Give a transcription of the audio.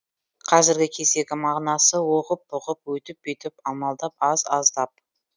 қазіргі кездегі мағынасы оғып бұғып өйтіп бүйтіп амалдап аз аздап